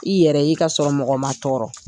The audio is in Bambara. I yɛrɛ ye ka sɔrɔ mɔgɔ ma tɔɔrɔ.